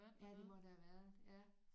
Ja det må der have været ja